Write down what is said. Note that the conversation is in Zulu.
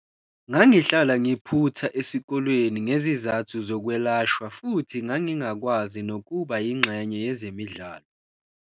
Ngangihlala ngiphutha esikoleni ngezizathu zokwelashwa futhi ngangingakwazi nokuba yingxenye yezemidlalo.